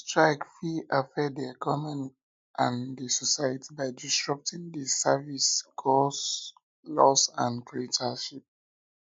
strike fit affect di economy and di society by disrupting di services cause loss and create hardship